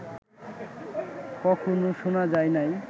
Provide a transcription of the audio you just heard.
কখনো শুনা যায় নাই